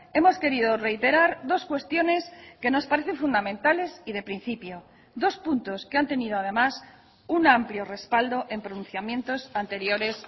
hemos querido reiterar dos cuestiones que nos parecen fundamentales y de principio dos puntos que han tenido además un amplio respaldo en pronunciamientos anteriores